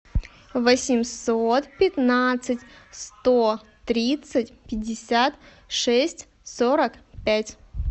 восемьсот пятнадцать сто тридцать пятьдесят шесть сорок пять